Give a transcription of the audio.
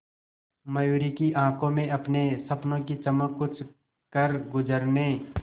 मयूरी की आंखों में अपने सपनों की चमक कुछ करगुजरने